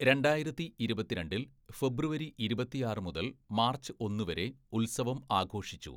രണ്ടായിരത്തി ഇരുപത്തിരണ്ടില്‍, ഫെബ്രുവരി ഇരുപത്തിയാറ് മുതല്‍ മാര്‍ച്ച് ഒന്ന്‌ വരെ ഉത്സവം ആഘോഷിച്ചു.